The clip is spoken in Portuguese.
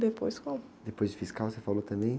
Depois como?epois de fiscal você falou também?